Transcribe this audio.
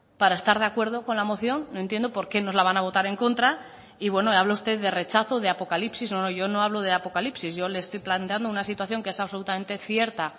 para estar de acuerdo con la moción no entiendo por qué nos la van a votar en contra y bueno habla usted de rechazo de apocalipsis no yo no hablo de apocalipsis yo le estoy planteando una situación que es absolutamente cierta